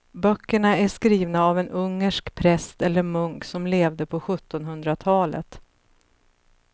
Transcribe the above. Böckerna är skrivna av en ungersk präst eller munk som levde på sjuttonhundratalet.